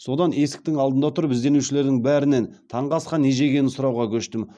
содан есіктің алдында тұрып ізденушілердің бәрінен таңғы асқа не жегенін сұрауға көштім